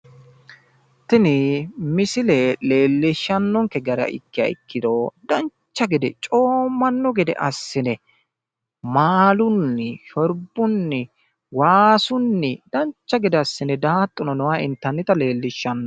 tini misile leellishshannonke gara ikkiha ikkiro dancha gede coommanno gede assi'ne maalunni, shorbunni, waasunni dancha gede assi'ne daaxxuno noota intannita leellishshanno.